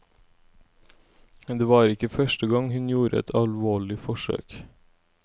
Det var ikke første gang hun gjorde et alvorlig forsøkt.